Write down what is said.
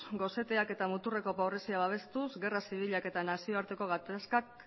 goseteak eta muturreko pobrezia babestuz gerra zibilak eta nazioarteko gatazkak